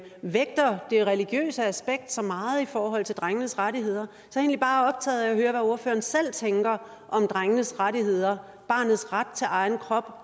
vægter det religiøse aspekt så meget i forhold til drengenes rettigheder så jeg bare optaget af at høre hvad ordføreren selv tænker om drengenes rettigheder barnets ret til egen krop